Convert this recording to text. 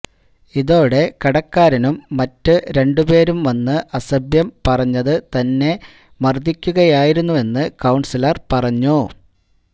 ഇതോടെ കടക്കാരനും മറ്റു രണ്ടുപേരും വന്ന് അസഭ്യം പറഞ്ഞ് തന്നെ മർദിക്കുകയായിരുന്ന് കൌൺസിലർ പറഞ്ഞു